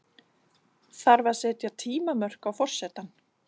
Þarf að setja tímamörk á forsetann?